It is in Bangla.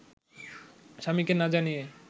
স্বামীকে না জানিয়েই